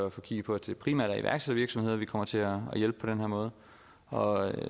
at få kigget på at det primært er iværksættervirksomheder vi kommer til at hjælpe på den her måde og